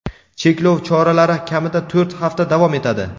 cheklov choralari kamida to‘rt hafta davom etadi.